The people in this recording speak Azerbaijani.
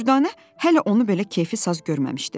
Dürdanə hələ onu belə keyfi saz görməmişdi.